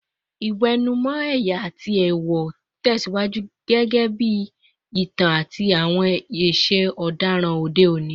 Ìwẹ̀nùmọ́ ẹ̀yà àti èèwọ̀ ń tẹ̀ síwájú gẹ́gẹ́ bí ìtàn àti àwọn ẹ̀ṣẹ̀ ọ̀daràn òde òní